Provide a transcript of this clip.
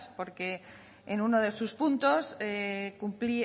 porque en uno de sus puntos